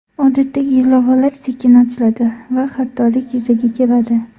Odatdagi ilovalar sekin ochiladi va xatolik yuzaga keladi .